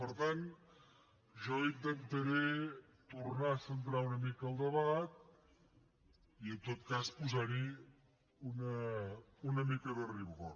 per tant jo intentaré tornar a centrar una mica el debat i en tot cas posar hi una mica de rigor